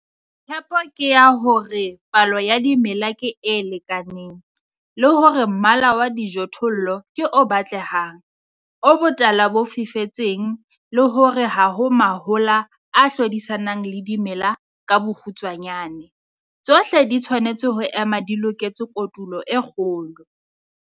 Tshepo ke ya hore palo ya dimela ke e lekaneng, le hore mmala wa dijothollo ke o batlehang, o botala bo fifetseng, le hore ha ho mahola a hlodisanang le dimela - ka bokgutshwanyane, tshohle di tshwanetse ho ema di loketse kotulo e kgolo.